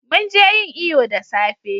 mun je yin iyo da safe